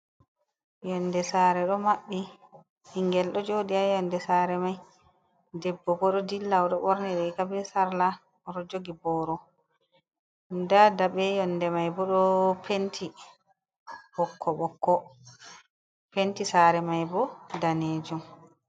Yondé sare ɗo màbbi bingel ɗo jôdi a yondé sare mai ɗeɓbo ɓo ɗo ɗilla oɗo ɓorni riga ɓe sarla oɗo jogi ɓoro, ɗa ɗaɓe yonɗe mai ɓo ɗo penti ɓokko-ɓokko, penti sare mai ɓo ɗanejum.